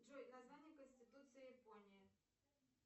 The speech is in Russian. джой название конституции японии